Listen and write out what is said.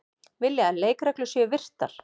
Vilja að leikreglur séu virtar